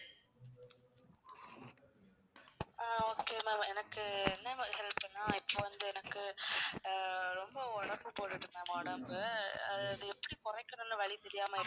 ஆஹ் okay ma'am எனக்கு என்ன மாதிரியான help னா இப்போ வந்து எனக்கு ஆஹ் ரொம்ப உடம்பு போடுது ma'am உடம்பு, அஹ் அது எப்படி குறைக்கிறதுன்னு வழி தெரியாம இருக்கேன்.